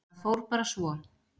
Það fór bara svo.